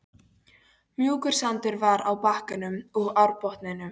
Mjúkur sandur var á bakkanum og árbotninum.